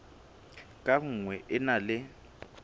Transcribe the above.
ka nngwe e na le